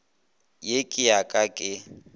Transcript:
ye ke ya ka ke